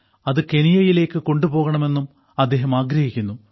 അത് കെനിയയിലേക്ക് കൊണ്ടുപോകണമെന്നും അദ്ദേഹം ആഗ്രഹിക്കുന്നു